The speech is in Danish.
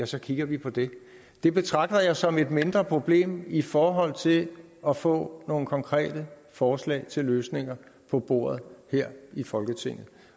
så kigger vi på det det betragter jeg som et mindre problem i forhold til at få nogle konkrete forslag til løsninger på bordet her i folketinget